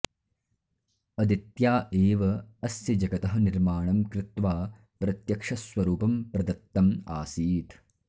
अदित्या एव अस्य जगतः निर्माणं कृत्वा प्रत्यक्षस्वरूपं प्रदत्तम् आसीत्